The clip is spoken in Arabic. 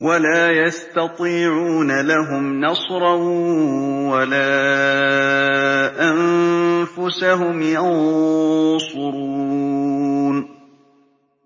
وَلَا يَسْتَطِيعُونَ لَهُمْ نَصْرًا وَلَا أَنفُسَهُمْ يَنصُرُونَ